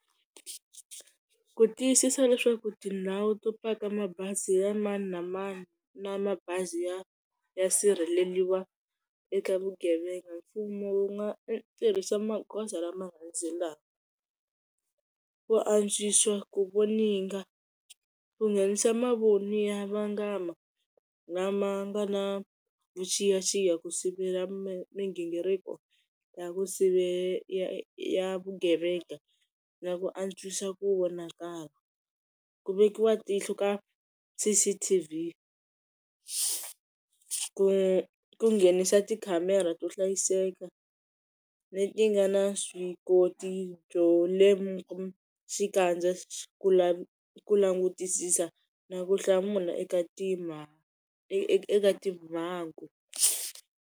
Ku tiyisisa leswaku tindhawu to paka mabazi ya mani na mani na mabazi ya ya sirheleriwa eka vugevenga mfumo wu nga tirhisa magoza lama landzelaka, ku antswisa ku voninga, ku nghenisa mavoni yo vangama lama nga na vuxiyaxiya ku sivela mighingiriko ya ku sivela ya vugevenga na ku antswisa ku vonakala. Ku vekiwa tihlo ka C_C_T_V ku ku nghenisa ti khamera to hlayiseka leti nga na vuswikoti byo lemuka xikandza, ku langutisisa na ku hlamula eka timhangu.